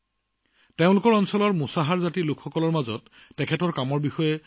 তেওঁৰ এই কাৰ্যকলাপ তেওঁৰ অঞ্চলৰ মুছাৰ জাতিৰ লোকসকলৰ মাজত অতি জনপ্ৰিয়